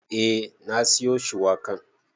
Eh na siyo shuwakan.